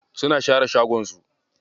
Suna share shagon su.